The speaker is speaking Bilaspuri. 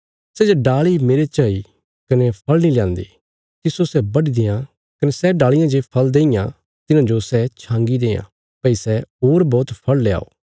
सै जे डाल़ी मेरे च हई कने फल़ नीं ल्यान्दी तिस्सो सै बढी देआं कने सै डालियां जे फल़ देईयां तिन्हांजो सै छांगी देआं भई सै होर बौहत फल़ ल्याओ